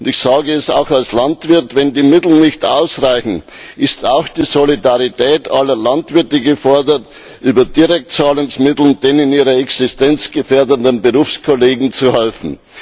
Ich sage es auch als Landwirt Wenn die Mittel nicht ausreichen, ist auch die Solidarität aller Landwirte gefordert, über Direktzahlungsmittel den in ihrer Existenz gefährdeten Berufskollegen zu helfen.